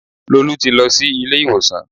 Lolú ti lọ sí ilé ìwòsàn